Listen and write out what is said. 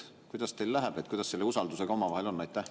Kuidas teil läheb, kuidas selle usaldusega omavahel on?